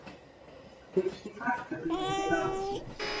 Fyrsti farfuglinn til landsins